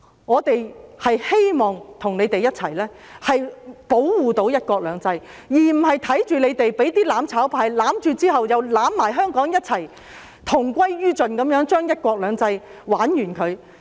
我們希望與你們一起保護"一國兩制"，而不是看着你們被"攬炒派"攬着，與香港同歸於盡，令"一國兩制"玩完。